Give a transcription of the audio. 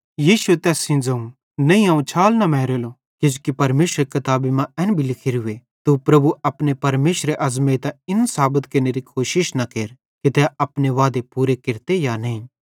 यीशुए तैस सेइं ज़ोवं नईं अवं छाल न मारेलो किजोकि परमेशरेरी किताबी मां एन भी लिखोरूए तू प्रभु अपने परमेशरे अज़मैइतां इन साबत केरनेरी कोशिश न केर कि तै अपने वादे पूरे केरते कि नईं